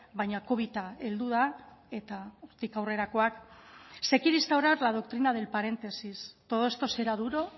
baina covida heldu da eta hortik aurrerakoak se quiere instaurar la doctrina del paréntesis todo esto será duro